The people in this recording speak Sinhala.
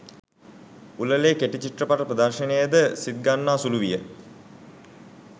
උළෙලේ කෙටි චිත්‍රපට ප්‍රදර්ශනයද සිත්ගන්නාසුළු විය